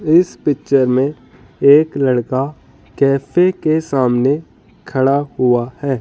इस पिक्चर में एक लड़का कैफे के सामने खड़ा हुआ है।